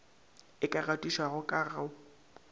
e ka gatišwago ka go